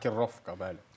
Raka, Rakerovka, bəli.